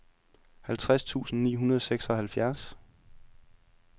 halvtreds tusind ni hundrede og seksoghalvfjerds